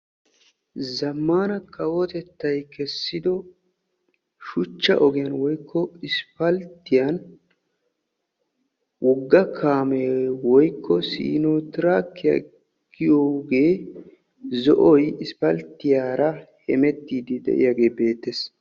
zamaana kawotettay kessido shuchcha ogiyan woykko ispaltiyan woga kaamee woykko sinotiraakee ispalttiyaara hemettiyagee beetees.